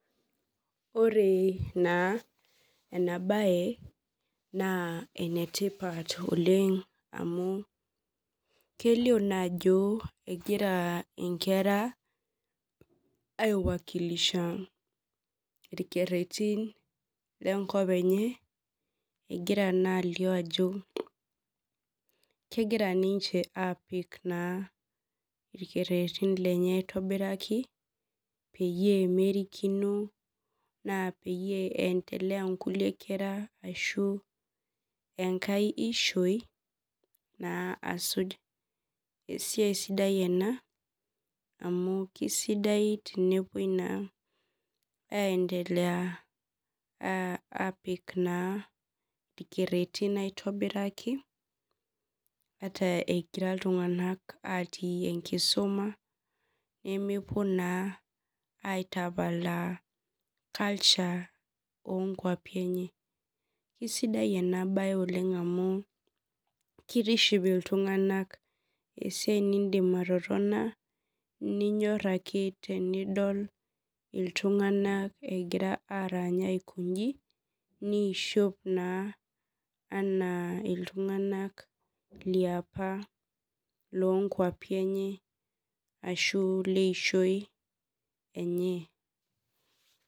Ore na enabae na enetipat oleng amu kelio na ajo egira nkera aiwakilisha irkererin lenkop enye egira na alio ajo kegira nunche apik irkererin lenye aitobiraki peyie merikino peyie eindelea nkulie kera enkae ishoi na asuj esiai sidai ena amu kesidai enepuoi na aendelea na piki irkererin aitobiraki ata etii ltunganak atii enkisuma nemepuo na aitapalaa onkwapi enye kesida ena bae amu kitiship ltunganak esiai nindim atotona ninyor ake enidol ltunganak otini aikonji nishop na ana ltunganak leapa lonkwapi enye ashu leishoi enye.